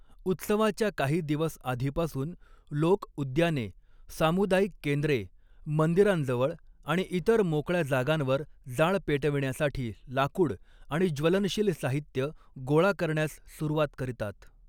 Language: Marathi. उत्सवाच्या काही दिवस आधीपासून लोक उद्याने, सामुदायिक केंद्रे, मंदिरांजवळ आणि इतर मोकळ्या जागांवर जाळ पेटविण्यासाठी लाकूड आणि ज्वलनशील साहित्य गोळा करण्यास सुरवात करीतात.